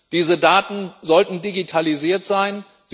Diese Daten sollten digitalisiert sein.